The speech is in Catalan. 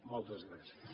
moltes gràcies